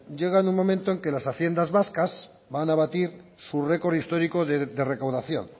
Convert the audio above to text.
llega en un momento en que las haciendas vascas van a batir su récord histórico de recaudación